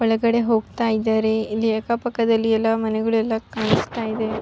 ಒಲ್ಗಡೆ ಹೋಗ್ತಾ ಇದ್ದಾರೆ ಇಲ್ಲಿ ಅಕ್ಕ ಪಕ್ಕದಲ್ಲಿ ಎಲ್ಲ ಮನೆಗಳು ಎಲ್ಲ ಕಾಣಿಸ್ತಾ ಇದೆ --